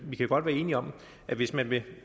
vi kan godt være enige om at hvis man vil